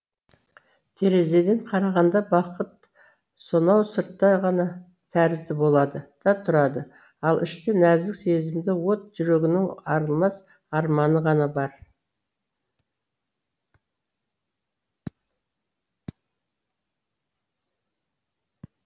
терезеден қарағанда бақыт сонау сыртта ғана тәрізді болады да тұрады ал іште нәзік сезімді от жүрегінің арылмас арманы ғана бар